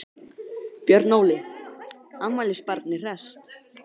Björn Óli, afmælisbarnið hresst?